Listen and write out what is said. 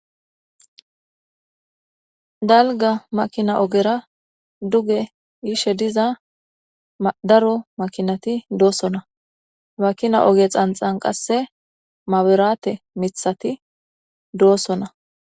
Dalga makina ogera duge yishe diza daro makinati doosona makina oge xanxan qasse maberaate mithati doossona.